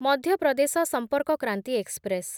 ମଧ୍ୟ ପ୍ରଦେଶ ସମ୍ପର୍କ କ୍ରାନ୍ତି ଏକ୍ସପ୍ରେସ୍